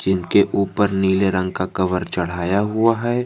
जीनके ऊपर नीले रंग का कवर चढ़ाया हुआ है।